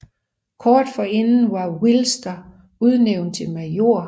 Kort forinden var Wilster udnævnt til major